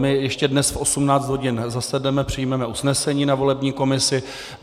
My ještě dnes v 18 hodin zasedneme, přijmeme usnesení na volební komisi.